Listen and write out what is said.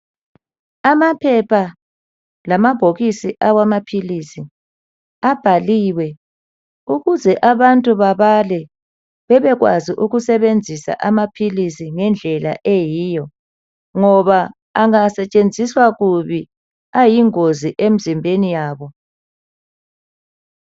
Amaphepha lamabhokisi amaphilisi abhaliwe ukuze abantu bebale bebekwazi ukusebenzisa amaphilisi ngendlela eyiyo ngoba angasetshenziswa kubi ayingozi emzimbeni yabo.